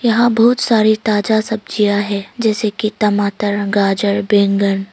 बहुत सारे ताजा सब्जियां है जैसे कि टमाटर गाजर बैंगन--